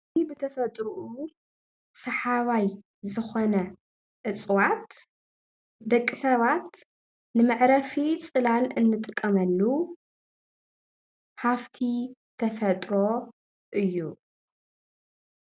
እዚ ብተፈጥርኡ ሰሓባይ ዝኮነ እፅዋት ደቂ ሰባት ንምዕረፊ ፅላል እንጥቀመሉ ሃፍቲ ተፈጥሮ እዩ፡፡